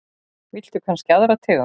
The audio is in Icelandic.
Viltu kannski aðra tegund?